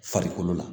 Farikolo la